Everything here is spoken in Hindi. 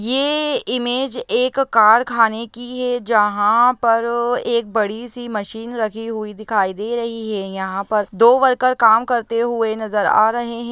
ये इमेज एक कारखाने की है जहाँ पर एक बड़ी सी मशीन रखी हुई दिखाई दे रही है यहाँ पर दो वर्कर काम करते हुए नजर आ रहें हैं।